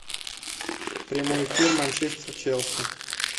прямой эфир манчестер челси